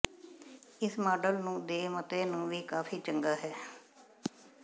ਇਸ ਮਾਡਲ ਨੂੰ ਦੇ ਮਤੇ ਨੂੰ ਵੀ ਕਾਫ਼ੀ ਚੰਗਾ ਹੈ